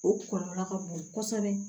O kɔlɔlɔ ka bon kosɛbɛ